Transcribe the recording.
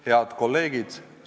Head kolleegid!